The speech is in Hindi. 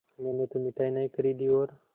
मैंने तो मिठाई नहीं खरीदी और